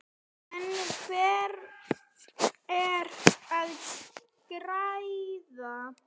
En hver er að græða?